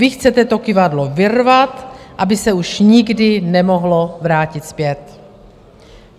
Vy chcete to kyvadlo vyrvat, aby se už nikdy nemohlo vrátit zpět.